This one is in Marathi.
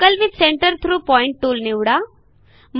circle with centre through point tool निवडा